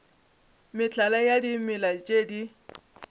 mehlala ya dimela tše di